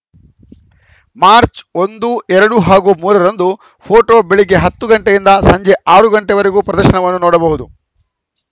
March ಒಂದು ಎರಡು ಹಾಗೂ ಮೂರ ರಂದು ಫೋಟೋ ಬೆಳಿಗ್ಗೆ ಹತ್ತು ಗಂಟೆಯಿಂದ ಸಂಜೆ ಆರು ಗಂಟೆವರೆಗೂ ಪ್ರದರ್ಶನವನ್ನು ನೋಡಬಹುದು